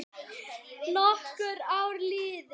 Nokkur ár liðu.